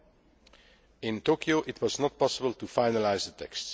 ACTA? Well, in Tokyo, it was not possible to finalise the